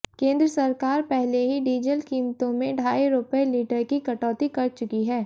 केंद्र सरकार पहले ही डीजल कीमतों में ढाई रुपये लीटर की कटौती कर चुकी है